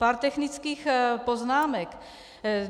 Pár technických poznámek.